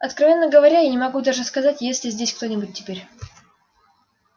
откровенно говоря я не могу даже сказать есть ли здесь кто-нибудь теперь